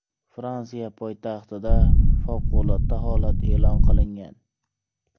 Fransiya poytaxtida favqulodda holat e’lon qilingan.